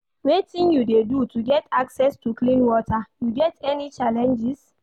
Wetin you dey do to get access to clean water, you get any challenges?